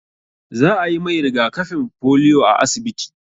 Za a yi mai riga-kafin polio a asibiti.